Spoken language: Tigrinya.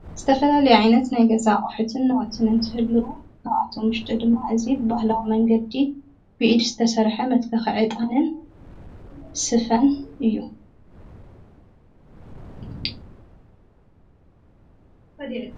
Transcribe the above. ዝተፈላለየ ዓይነት ናይ ገዛ ኣቁሕትን ናዉትን እንትህሉዉ፣ ካብኣቶም ውሽጢ ድማ እዚ ብባህላዊ መንገዲ ብኢድ ዝተሰርሐ መትከኪ ዒጣንን ስፈን እዩ።